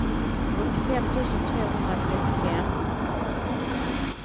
åttiofem tusen tvåhundratrettiofem